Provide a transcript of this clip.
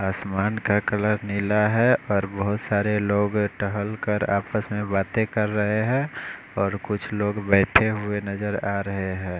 आसमान का कलर नीला है और बहोत सारे लोग टहल कर आपस में बाते कर रहे है और कुछ लोग बैठे हुए नज़र आरहे है।